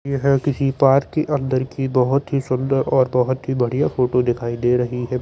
यह किसी पार्क के अन्दर की बहुत ही सुन्दर और बहुत ही बढ़िया फोटो दिखाई दे रही है ।